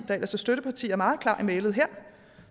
der ellers er støtteparti er meget klar i mælet